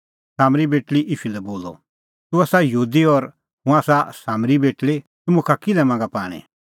सामरी बेटल़ी ईशू लै बोलअ तूह आसा यहूदी और हुंह आसा सामरी बेटल़ी तूह मुखा किल्है मांगा पाणीं